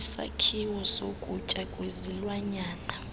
isakhiwo sokutya kwezilwanyana